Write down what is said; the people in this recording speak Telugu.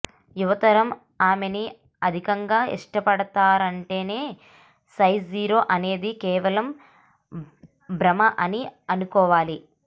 యువతరం ఆమెని అధికంగా ఇష్టపడతారంటేనే సైజ్ జీరో అనేది కేవలం భ్రమ అని అనుకోవాలి